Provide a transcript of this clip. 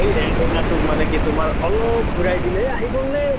সেই antenna তো মানে কি তোমাৰ অলপ ঘুৰাই দিলে আহিল গʼল নে?